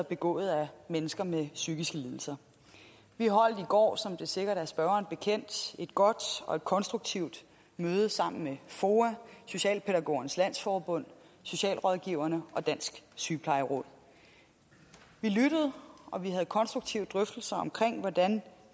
begået af mennesker med psykiske lidelser vi holdt i går som det sikkert er spørgeren bekendt et godt og konstruktivt møde sammen med foa socialpædagogernes landsforbund socialrådgiverne og dansk sygeplejeråd vi lyttede og vi havde konstruktive drøftelser omkring hvordan